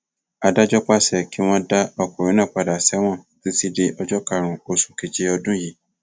adájọ pàṣẹ kí wọn dá ọkùnrin náà padà sẹwọn títí di ọjọ karùnún oṣù keje ọdún yìí